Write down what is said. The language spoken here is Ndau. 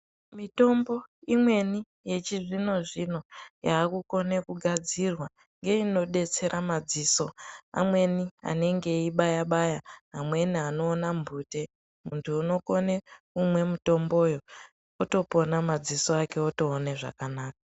Mitombo imweni yechizvino zvino yakukone kugadzirwe ngeyinodetsera madziso amweni anenge eibaya baya amweni anoona mbute muntu unokone kumwe mutomboyo otopona madziso ake otoona zvakanaka.